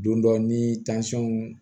Don dɔ ni